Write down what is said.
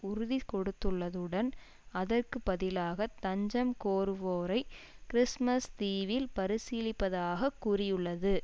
உறுதி கொடுத்துள்ளதுடன் அதற்கு பதிலாக தஞ்சம் கோருவோரை கிறிஸ்துமஸ் தீவில் பரிசீலிப்பதாக கூறியுள்ளது